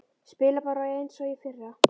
Spila bara eins og í fyrra?